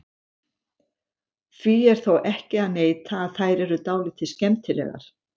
Því er þó ekki að neita að þær eru dálítið skemmtilegar.